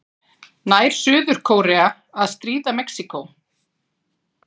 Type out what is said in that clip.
Nær Suður-Kórea að stríða Mexíkó?